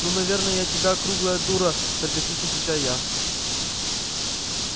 ну наверное я тебя круглая дура саркастично отвечаю я